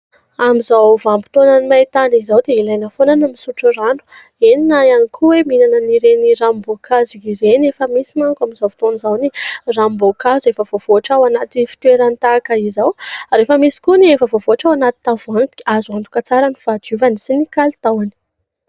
Amin'izao vanim-potoanan'ny maintany izao dia ilaina foana ny misotro rano, eny na ihany koa hoe mihinana an'ireny ranom-boankazo ireny, efa misy manko amin'izao fotoana izao ny ranom-boankazo efa voavoatra ao anaty fitoerany tahaka izao ary efa misy koa ny efa voavoatra ao anaty tavoahangy, azo antoka tsara ny fahadiovany sy ny kalitaony.